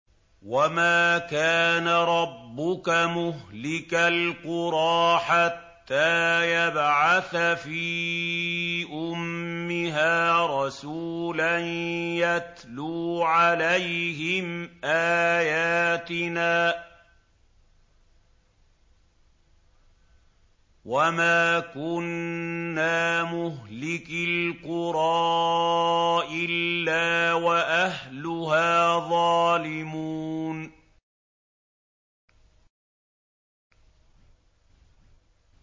وَمَا كَانَ رَبُّكَ مُهْلِكَ الْقُرَىٰ حَتَّىٰ يَبْعَثَ فِي أُمِّهَا رَسُولًا يَتْلُو عَلَيْهِمْ آيَاتِنَا ۚ وَمَا كُنَّا مُهْلِكِي الْقُرَىٰ إِلَّا وَأَهْلُهَا ظَالِمُونَ